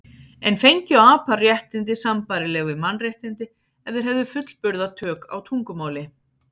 En fengju apar réttindi sambærileg við mannréttindi ef þeir hefðu fullburða tök á tungumáli?